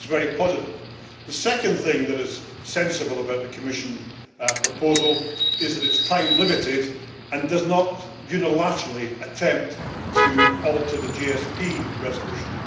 That is very positive. The second thing that is sensible about the Commission proposal is that it is time limited and does not unilaterally attempt to alter the GSP resolution.